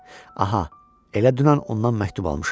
Aha, elə dünən ondan məktub almışam.